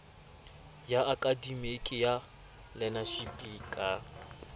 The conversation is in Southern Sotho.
ya akademiki ya learnership ka